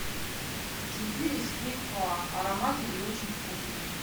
зефир из фейхоа ароматный и очень вкусный